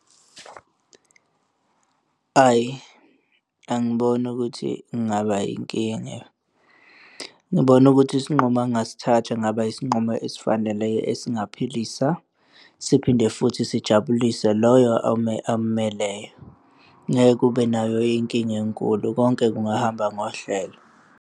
Ayi, angiboni ukuthi kungaba yinkinga. Ngibona ukuthi isinqumo angasithatha kungaba isinqumo esifaneleyo esingaphilisa siphinde futhi sijabulise loyo ommeleyo, ngeke kube nayo inkinga enkulu konke kungahamba ngohlelo.